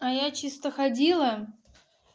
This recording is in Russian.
а я чисто ходила